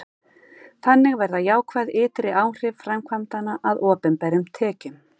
þannig verða jákvæð ytri áhrif framkvæmdanna að opinberum tekjum